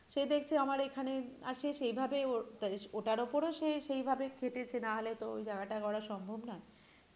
সে দেখছে আমার এখানে আর সেই ভাবে ওর ওটার উপর ও সে সেই ভাবে খাটেছে না হলে তো ওই জায়গাটা করা সম্ভব নয় কিন্তু